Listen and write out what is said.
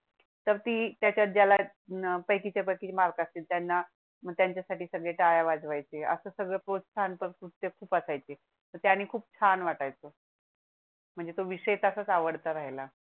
तर ती त्याला पैकी च्या पैकी मार्क असतील त्यांना मग त्याच्या साठी सगळे टाळ्या वाजवाय चे असे सगळे प्रोहसान पण खूप खूप असायचे. त्यांनी खूप छान वाटाय चं म्हणजे तो विषय तसाच आवडता राहिला.